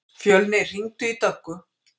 Fjölnir, hringdu í Döggu.